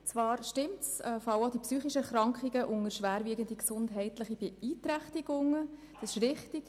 Es ist richtig, dass auch die psychischen Erkrankungen unter die schwerwiegenden gesundheitlichen Beeinträchtigungen fallen.